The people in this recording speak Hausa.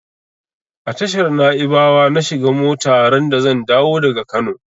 A tashar naibawa na shiga mota randa zan dawo daga Kano.